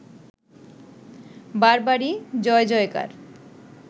বরাবরই জয়জয়কার